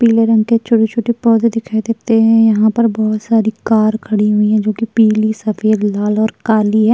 पीले रंग के छोटे छोटे पौधे दिखाई देत्ते है यहाँ पर बहोत सारी कार खड़ी हुईं है जोकि पीली सफेद लाल और काली है।